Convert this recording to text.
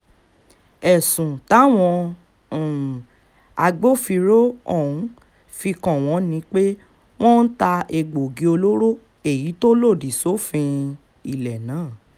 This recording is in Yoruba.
ẹ̀sùn táwọn um agbófinró ọ̀hún fi kàn wọ́n ni pé wọ́n ń ta egbòogi olóró èyí tó lòdì sófin um ilẹ̀ náà